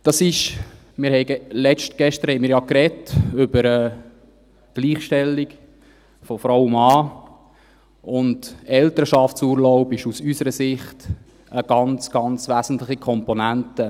Gestern sprachen wir ja über die Gleichstellung von Frau und Mann, und der Elternschaftsurlaub ist aus unserer Sicht eine ganz, ganz wesentliche Komponente.